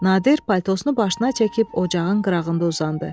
Nadir paltosunu başına çəkib ocağın qırağında uzandı.